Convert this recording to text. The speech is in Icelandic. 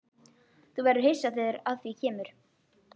Þú verður hissa þegar að því kemur.